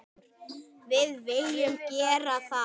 Við viljum gera það.